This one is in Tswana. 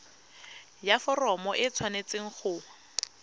ya foromo e tshwanetse go